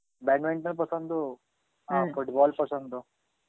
badminton পছন্দ আর football পছন্দ.